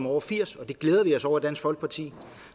over firs år og det glæder vi os over i dansk folkeparti